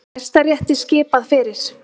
Hæstarétti skipað fyrir